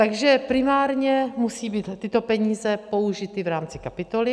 Takže primárně musí být tyto peníze použity v rámci kapitoly.